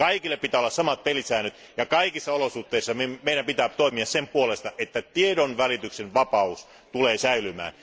Kaikille pitää olla samat pelisäännöt ja kaikissa olosuhteissa meidän pitää toimia sen puolesta, että tiedonvälityksen vapaus tulee säilymään.